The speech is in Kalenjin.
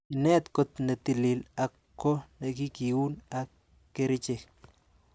Inet got netilil ak ko nekikiun ak kerichek.